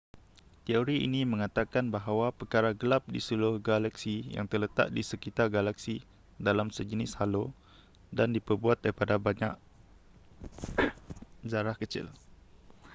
teori ini mengatakan bahawa perkara gelap di seluruh galaksi yang terletak di sekitar galaksi dalam sejenis halo dan diperbuat daripada banyak zarah kecil